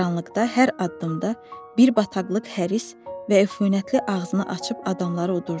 Qaranlıqda hər addımda bir bataqlıq həris və eyfünətli ağzını açıb adamları udurdu.